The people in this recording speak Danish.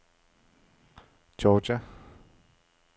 Georgia